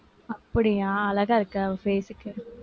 அப்படியா, அழகா இருக்கு அவ face க்கு.